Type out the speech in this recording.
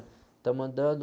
Estamos andando